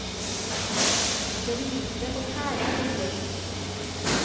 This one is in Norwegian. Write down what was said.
Det begynte å tære på gløden.